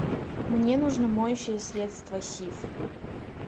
мне нужно моющее средство сиф